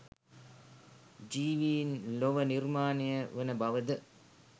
ජීවීන් ලොව නිර්මාණය වන බවද?